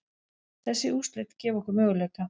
Þessi úrslit gefa okkur möguleika